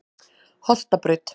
Holtabraut